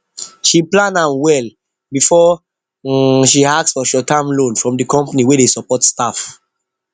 she plan am well before she ask for shortterm loan from the company wey dey support staff